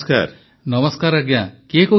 ପ୍ରଧାନମନ୍ତ୍ରୀ ନମସ୍କାର ଆଜ୍ଞା କିଏ କହୁଛନ୍ତି